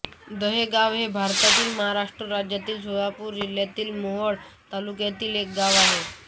देगाव हे भारतातील महाराष्ट्र राज्यातील सोलापूर जिल्ह्यातील मोहोळ तालुक्यातील एक गाव आहे